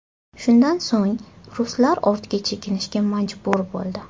Shundan so‘ng, ruslar ortga chekinishga majbur bo‘ldi.